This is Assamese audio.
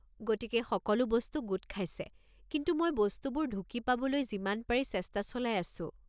গতিকে সকলো বস্তু গোট খাইছে, কিন্তু মই বস্তুবোৰ ঢুকি পাবলৈ যিমান পাৰি চেষ্টা চলাই আছোঁ।